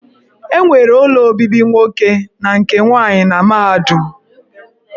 E nwere ụlọ obibi nwoke na nke nwaanyị na mahadum.